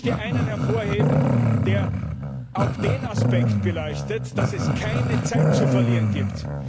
Ich möchte einen hervorheben, der auch den Aspekt beleuchtet, dass es keine Zeit zu verlieren gibt.